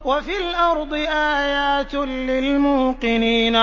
وَفِي الْأَرْضِ آيَاتٌ لِّلْمُوقِنِينَ